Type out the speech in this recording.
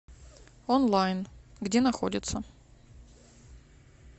онлайн где находится